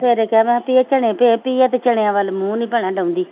ਸਵੇਰੇ ਕਿਹਾ ਮੈਂ ਧੀਏ ਚਣੇ ਭਿਓ ਤੀਆ ਤੇ ਚਣਿਆਂ ਵੱਲ ਮੂੰਹ ਨੀ ਭੈਣਾ ਡਾਉਂਦੀ।